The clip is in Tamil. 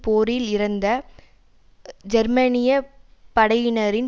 போரில் இறந்த ஜெர்மனிய படையினரின்